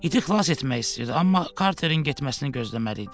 İti xilas etmək istəyirdi, amma Karterin getməsini gözləməli idi.